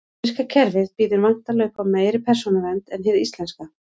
Bandaríska kerfið býður væntanlega upp á meiri persónuvernd en hið íslenska.